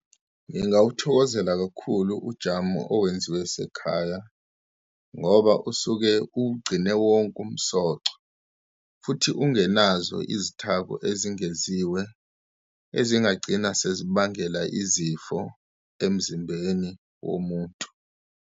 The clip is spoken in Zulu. Ngingawuthokozela kakhulu ujamu owenziwe esekhaya ngoba usuke ugcine wonke umsoco, futhi ungenazo izithako ezingeziwe ezingagcina sezibangela izifo emzimbeni womuntu.